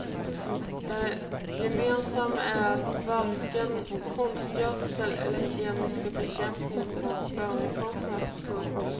Det gemensamma är att varken konstgödsel eller kemisk bekämpning får förekomma. punkt